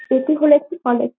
এটি হলো একটি কলেজ ।